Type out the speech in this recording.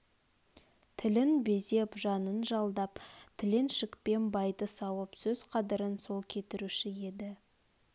тілін безеп жанын жалдап тіленшілікпен байды сауып сөз қадірін сол кетіруші еді